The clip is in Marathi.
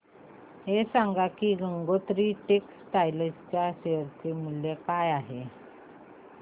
हे सांगा की गंगोत्री टेक्स्टाइल च्या शेअर चे मूल्य काय आहे